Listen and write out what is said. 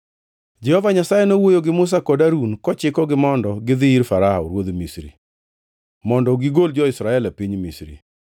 Jehova Nyasaye nowuoyo gi Musa kod Harun kochikogi mondo gidhi ir Farao ruodh Misri, mondo gigol jo-Israel e piny Misri.